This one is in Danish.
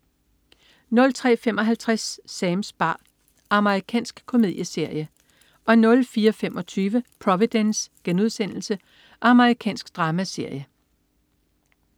03.55 Sams bar. Amerikansk komedieserie 04.25 Providence.* Amerikansk dramaserie